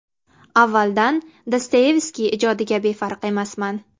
Avvaldan Dostoyevskiy ijodiga befarq emasman.